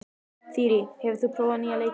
Þyrí, hefur þú prófað nýja leikinn?